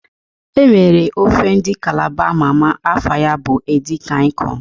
E nwere ofe ndị Kalaba ama ama, afa ya bụ edi kan ịkọn